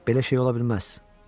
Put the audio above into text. Belə şey ola bilməz.